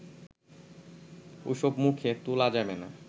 ওসব মুখে তোলা যাবে না